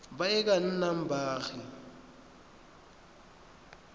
ba e ka nnang baagi